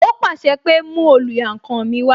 Ó pàṣẹ pé "mú oluyankan mi wá"